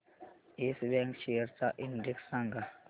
yes Bank shares चा index सांगा